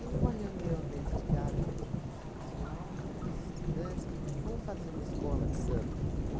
numa reunião dentro de casa com e com esse pessoal, com esses estudantes, vamos fazer uma escola de samba.